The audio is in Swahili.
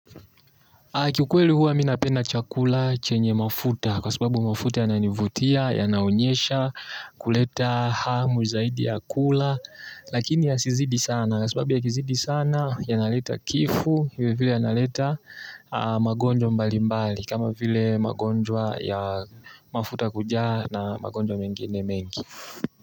Kiukweli huwa mi napenda chakula chenye mafuta kwa sababu mafuta yananivutia yanaonyesha kuleta hamu zaidi ya kula lakini yasizidi sana kwa sababu yakizidi sana yanaleta kifo hivyo vile yanaleta magonjwa mbalimbali kama vile magonjwa ya mafuta kujaa na magonjwa mengine mengi.